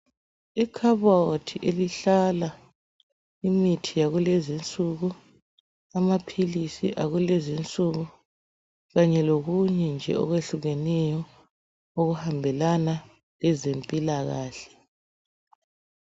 Ikhabothi elihlala imithi yakulezi insuku, amaphilisi akulezi insuku kanye lokunye nje okwehlukeneyo okuhambelana lezempilakahle.